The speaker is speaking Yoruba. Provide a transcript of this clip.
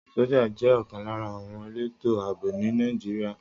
Sọ́jà jẹ́ ọ̀kan lára àwọn elétò ààbò ní Nàìjíríà.